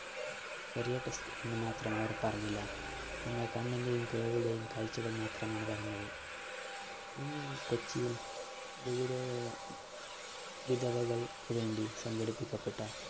test മാത്രം അവര്‍ പറഞ്ഞില്ല. കണ്ണിന്‍റെയും, കേള്‍വിയുടെയും കാഴ്ചകള്‍ മാത്രമാണ് പറഞ്ഞത്. കൊച്ചിയില്‍ വിധവ വിധവകള്‍ക്കു വേണ്ടി സംഘടിപ്പിക്കപ്പെട്ട